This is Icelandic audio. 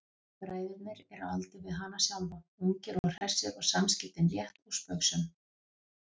Bræðurnir eru á aldur við hana sjálfa, ungir og hressir og samskiptin létt og spaugsöm.